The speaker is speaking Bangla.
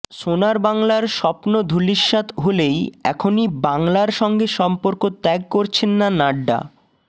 সোনার বাংলার স্বপ্ন ধূলিসাৎ হলেই এখনই বাংলার সঙ্গে সম্পর্ক ত্যাগ করছেন না নাড্ডা